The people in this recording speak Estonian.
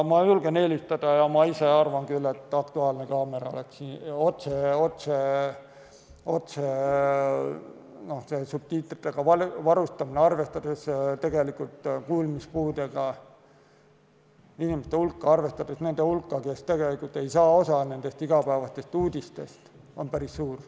Ma ise arvan küll, et see on "Aktuaalse kaamera" otse subtiitritega varustamine, arvestades kuulmispuudega inimeste hulka, arvestades seda, et nende hulk, kes ei saa osa igapäevastest uudistest, on päris suur.